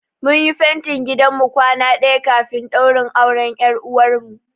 Mun yi fentin gidan mu kwana ɗaya kafin ɗaurin auren ƴar uwarmu.